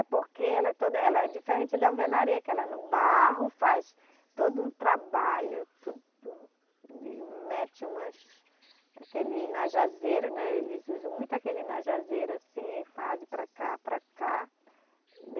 É, porque ela é toda, ela é diferente da alvenaria, que ela é no barro, faz todo um trabalho, tudo e mete umas, aquele najazeiro, né, eles usam muito aquele najazeiro assim, fazem para cá, para cá.